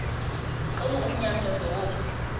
qhiwu umnqamlezo womthi